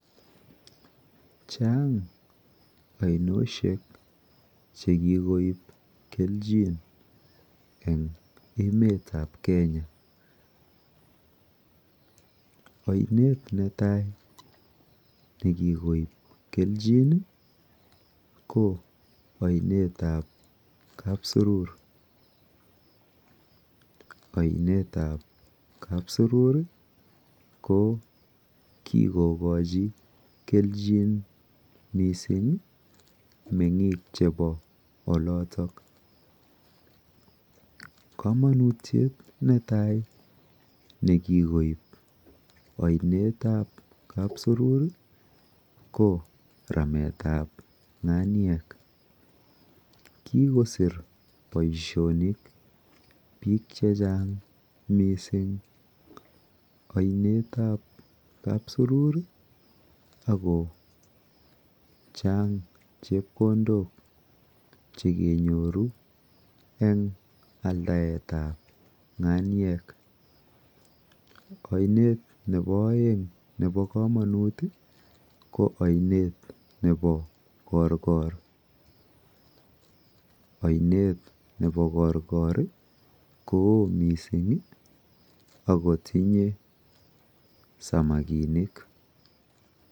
Chang ainoshek chekikoip kelchin eng emetap Kenya. Ainet netai nekikoip kelchin ko ainetap Kapsurur. Ainetap Kapsurur ko kikokochi kelchin mising meng'ik chepo oloto. Kamanutyet netai neibu ainetap Kapsurur ko rametap ng'anyek. Kikosir boishonik biik chechang mising ainetap Kapsurur akochang chepkondok chekenyoru eng aldaetap ng'anyek. Ainet nepo oeng nepo komonut ko ainet nepo Korkor. Ainet nepo korkor koo mising akotinye samakinik.